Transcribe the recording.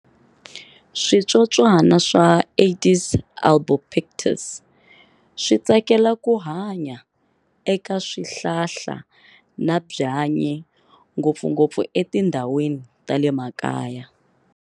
Switsotswana swa "Aedes albopictus" switsakela ku hanya eka swihlahla na byanyi, ngopfungopfu etindhawini ta le makaya.